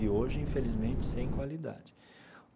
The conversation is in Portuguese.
E hoje, infelizmente, sem qualidade.